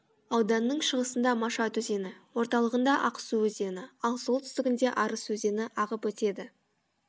ауданның шығысында машат өзені орталығында ақсу өзені ал солтүстігінде арыс өзені ағып өтеді